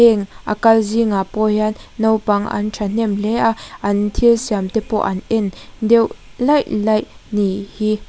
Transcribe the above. heng a kal zingah pawh hian naupang an thahnem hle a an thilsiam te pawh an en deuh laih laih nih hi.